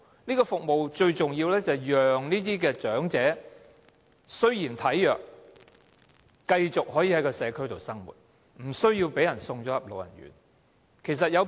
這些服務最重要是讓這些體弱長者可以繼續在社區生活，不用被送進老人院。